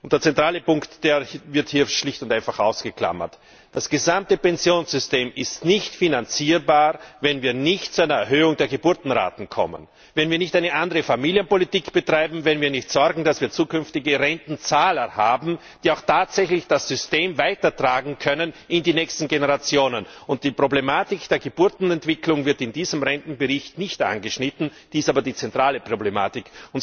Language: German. Der zentrale Punkt wird hier schlicht und einfach ausgeklammert Das gesamte Pensionssystem ist nicht finanzierbar, wenn wir nicht zu einer Erhöhung der Geburtenraten kommen, wenn wir nicht eine andere Familienpolitik betreiben, wenn wir nicht dafür sorgen, dass wir zukünftige Rentenzahler haben, die auch tatsächlich das System in die nächsten Generationen weitertragen können. Die Problematik der Geburtenentwicklung wird in diesem Rentenbericht nicht angeschnitten, ist aber die zentrale Problematik.